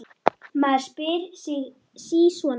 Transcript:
Maður spyr sig sí svona.